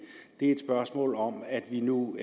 er et spørgsmål om at vi nu